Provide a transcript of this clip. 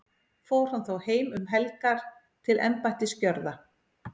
fór hann þá heim um helgar til embættisgjörða